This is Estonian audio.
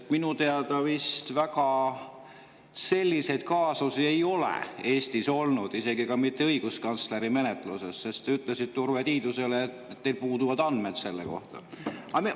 Minu teada vist väga selliseid kaasusi Eestis ei ole olnud, isegi mitte õiguskantsleri menetluses, sest te ütlesite Urve Tiidusele, et teil puuduvad selle kohta andmed.